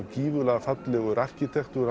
gífurlega fallegur arkitektúr